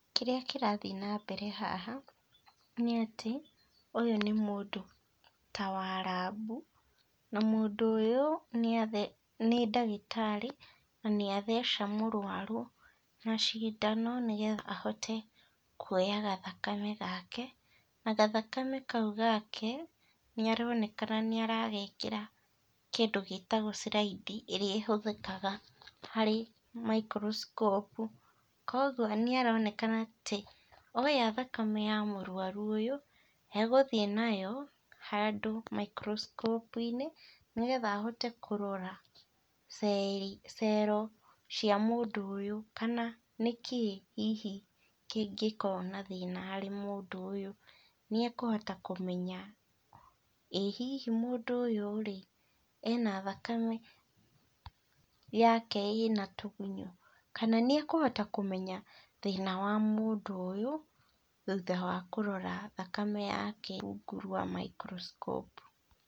Kĩrĩa kĩrathií nambere haha, nĩatĩ, ũyũ nĩ mũndũ, ta wa rambu, na mũndũ ũyũ nĩathe nĩ ndagĩtarĩ, nanĩ atheca mũrwaru, na cindano, nĩgetha ahote kuoya gathakame gake, na gathakame kau gake, nĩaronekana nĩaragekĩra kĩndũ gĩtagwo slide ĩrĩa ĩhũthĩkaga harĩ microscope koguo nĩaronekana atĩ oya thakame ya mũrwaru ũyũ, egũthiĩ nayo, handũ microscope -inĩ nĩgetha ahote kũrora cero cia mũndũ ũyũ kana nĩkĩĩ hihi kĩngĩkorwo na thĩna harĩ mũndũ ũyũ, nĩekũhota kũmenya, ĩ hihi mũndũ ũyũ rĩ, ena thakame, yake ĩna tũgunyũ, kana nĩekũhota kũmenya thĩna wa mũndũ ũyũ, thutha wa kũrora thakame yake rungu rwa microscope.